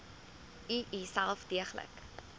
u uself deeglik